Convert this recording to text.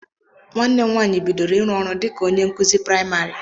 Nwanne m nwaanyị bidoro iru ọrụ dịka onye nkụzi praimari.